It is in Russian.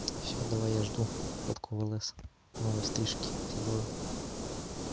всё давай я жду фотку в лс новой стрижки все дела